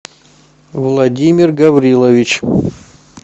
владимир гаврилович